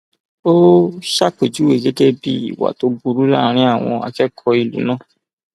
ó ṣàpèjúwe ẹ gẹgẹ bíi ìwà tó burú láàrin àwọn akẹkọọ ìlú náà